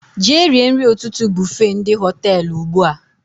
Jee rie nri ụtụtụ bufe ndị Họtelụ ugbua!